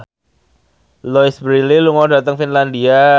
Louise Brealey lunga dhateng Finlandia